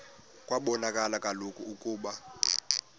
kwabonakala kaloku ukuba